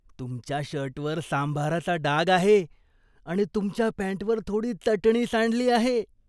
तुमच्या शर्टवर सांभाराचा डाग आहे आणि तुमच्या पॅन्टवर थोडी चटणी सांडली आहे.